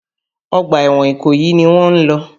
Ọgbà ẹ̀wọ̀n Ìkòyí ni wọ́n ń lọ.